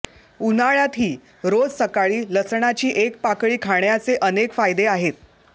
उन्हाळ्यातही रोज सकाळी लसणाची एक पाकळी खाण्याचे अनेक फायदे आहेत